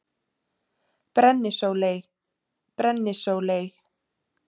Brennisóley: Brennisóley.